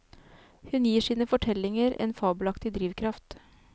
Hun gir sine fortellinger en fabelaktig drivkraft.